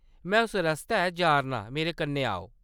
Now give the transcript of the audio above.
में उस रस्तै जा’रना आं, मेरे कन्नै आओ।